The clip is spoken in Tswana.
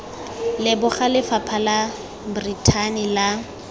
leboga lefapha la brithani la